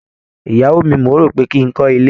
Ìyàwó mi, mò ń rò ó pé kí n kọ́ ilé.